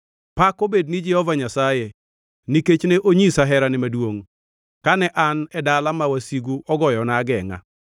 Pak obed ni Jehova Nyasaye, nikech ne onyisa herane maduongʼ, kane an e dala ma wasigu ogoyona agengʼa.